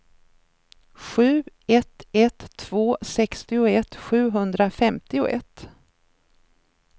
sju ett ett två sextioett sjuhundrafemtioett